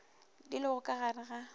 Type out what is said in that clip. di lego ka gare ga